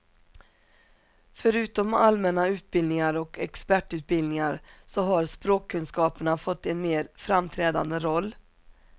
Förutom allmänna utbildningar och expertutbildningar, så har språkkunskaperna fått en mer framträdande roll.